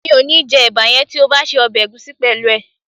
Mi ò ní jẹ́ ẹ̀bà yẹn tí ò bá se ọbẹ̀ ẹ̀gúsí pẹ̀lú ẹ̀